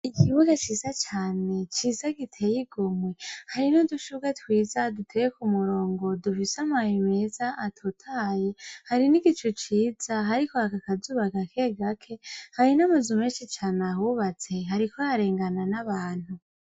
Ikibuga ciza cane, ciza giteye igomwe. Hari n'udushurwe twiza duteye ku murongo dufise amababi meza atotahaye hari n'igicu ciza, hariko haka akazuba gake gake. Hari n'amazu menshi cane ahubatse, hariko harengana n'abantu.